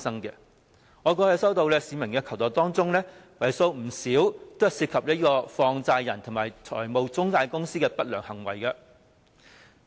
在我過去接獲市民的求助個案當中，為數不少都涉及放債人和中介公司的不良行為。